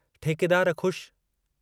ठेकेदार ख़ुश